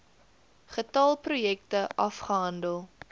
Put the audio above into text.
getal projekte afgehandel